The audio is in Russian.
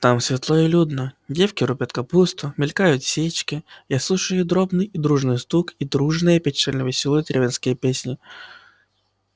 там светло и людно девки рубят капусту мелькают сечки я слушаю их дробный дружный стук и дружные печально-весёлые деревенские песни